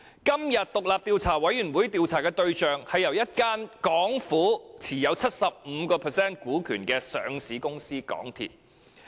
今次獨立調查委員會調查的對象，是由政府持有 75% 股權的上市公司港鐵公司。